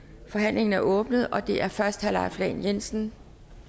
forhandlingen er åbnet og det er først herre leif lahn jensen